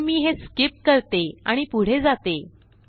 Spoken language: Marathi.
पण मी हे स्कीप करते आणि पुढे जाते